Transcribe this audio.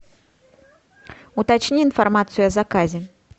уточни информацию о заказе